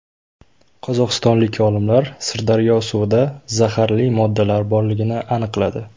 Qozog‘istonlik olimlar Sirdaryo suvida zaharli moddalar borligini aniqladi.